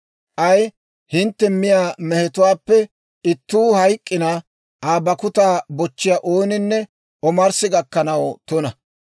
« ‹K'ay hintte miyaa mehetuwaappe ittuu hayk'k'ina, Aa bakkutaa bochchiyaa ooninne omarssi gakkanaw tuna.